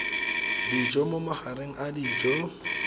dijo mo magareng a dijo